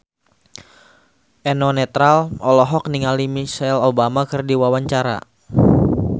Eno Netral olohok ningali Michelle Obama keur diwawancara